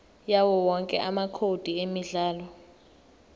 yawowonke amacode emidlalo